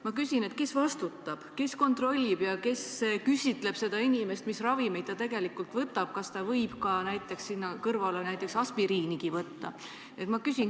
Ma küsin: kes vastutab, kes kontrollib ja kes küsitleb inimest, mis ravimeid ta võtab ja kas ta võib sinna kõrvale näiteks aspiriinigi võtta?